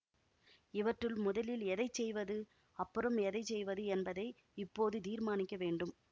இவற்றுள் முதலில் எதை செய்வது அப்புறம் எதை செய்வது என்பதை இப்போது தீர்மானிக்க வேண்டும்